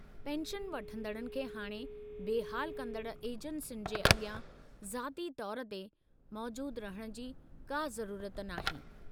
Pension वठंदड़नि खे हाणे बेहाल कंदड़ु एजेंसियुनि जे अगि॒यां ज़ाती तौरु ते मौजूदु रहिणु जी को ज़रूरत नाहे।